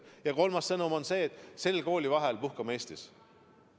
Ja kolmas sõnum on see, et sel koolivaheajal puhkame Eestis.